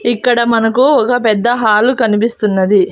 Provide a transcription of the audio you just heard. ఇక్కడ మనకు ఒగ పెద్ద హాలు కనిపిస్తున్నది.